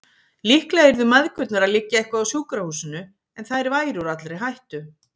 Líklega yrðu mæðgurnar að liggja eitthvað á sjúkrahúsinu, en þær væru úr allri hættu.